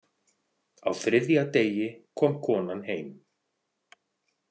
Á þriðja degi kom konan heim.